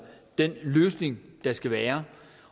den løsning der skal være